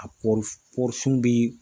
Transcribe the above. A kɔɔri kɔɔri sun bɛ